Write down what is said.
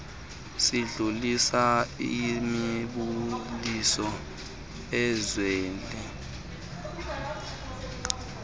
sidlulisa imibuliso ezele